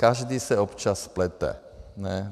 Každý se občas splete, ne?